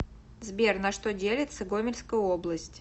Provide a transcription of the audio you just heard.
сбер на что делится гомельская область